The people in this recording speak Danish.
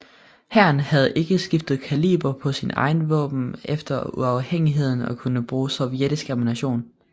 Hæren havde ikke skiftet kaliber på sine våben efter uafhængigheden og kunne bruge sovjetisk ammunition